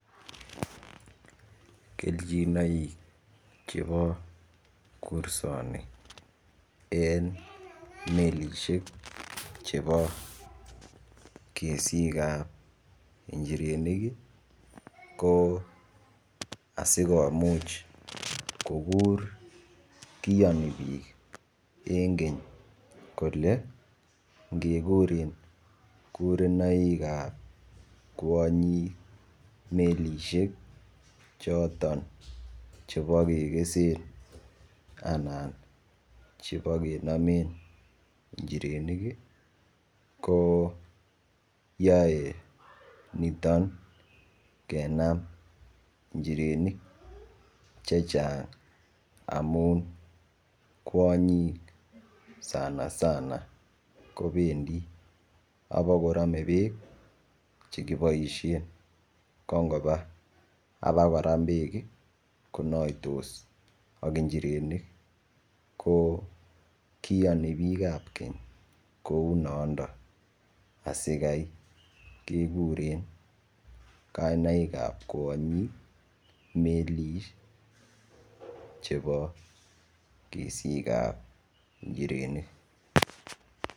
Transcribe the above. Kejinoik chebo kursoni en melishek chebo kesikab inchirenik ko sikomuch kokur kioni bik en Keny kole ngekuren kurenoik ab kwonyik melishek choton chebo kekesen anan chebo kenomen inchirenik kii ko yoe niton kenam inchirenik chechang amun kwonyik sanasana kopendii abakorome beek chekiboishen ko ngoba abakoram beek konoitos ak inchirenik ko kiyoni bikab Keny kou mondo asikai kekuren kainaikab kwonyik melit chebo kesikab Inchirenik.